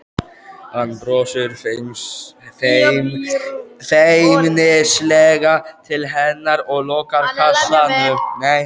Hann brosir feimnislega til hennar og lokar kassanum.